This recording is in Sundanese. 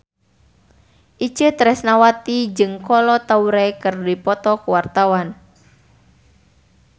Itje Tresnawati jeung Kolo Taure keur dipoto ku wartawan